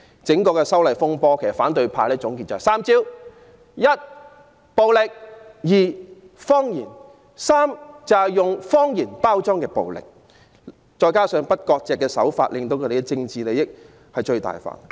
總結整場修例風波，反對派只有3招：一：暴力；二：謊言；三：以謊言包裝暴力；再加上不割席的手法，令他們的政治利益最大化。